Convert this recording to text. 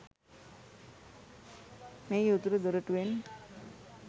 මෙහි උතුරු දොරටුවෙන්